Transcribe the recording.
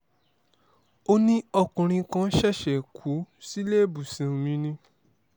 ó ní ọkùnrin kan ṣẹ̀ṣẹ̀ kú síléèbọsàn mi ni